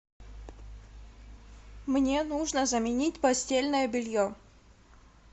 мне нужно заменить постельное белье